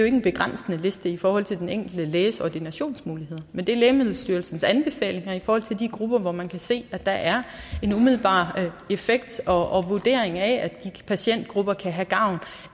en begrænsende liste i forhold til den enkelte læges ordinationsmuligheder men det er lægemiddelstyrelsens anbefalinger i forhold til de grupper hvor man kan se at der er en umiddelbar effekt og vurdering af at de patientgrupper kan have gavn